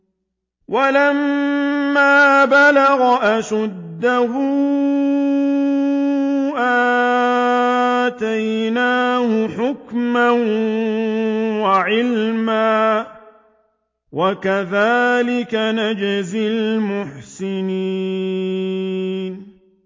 وَلَمَّا بَلَغَ أَشُدَّهُ آتَيْنَاهُ حُكْمًا وَعِلْمًا ۚ وَكَذَٰلِكَ نَجْزِي الْمُحْسِنِينَ